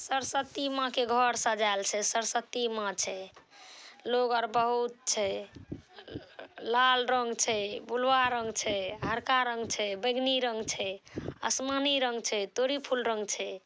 सरस्वती माँ के घर सजाल छै सरस्वती माँ छै। लोग आर बहुत छै। ल-अ लाल रंग छै बुलवा ( रंग छै हरका रंग छै बैगनी रंग छै आसमानी रंग छै तोरी फूल रंग छै।